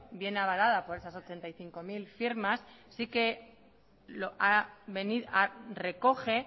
viene avalada por esas ochenta y cinco mil firmas si que recoge